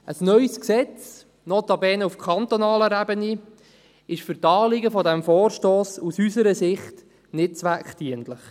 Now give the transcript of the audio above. Ein neues Gesetz, notabene auf kantonaler Ebene, ist für die Anliegen dieses Vorstosses aus unserer Sicht nicht zweckdienlich.